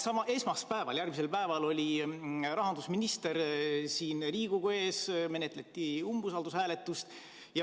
Aga esmaspäeval, järgmisel päeval oli rahandusminister siin Riigikogu ees, menetleti talle umbusalduse avaldamist.